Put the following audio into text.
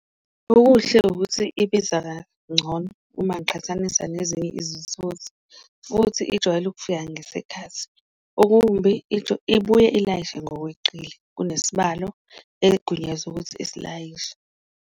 Okuhle ukuthi ibiza kangcono uma ngiqhathanisa nezinye izithuthi futhi ijwayele ukufika ngesikhathi, okumbi into ibuye ilayishe ngokweqile kunesibalo egunyazwe ukuthi asilayishe.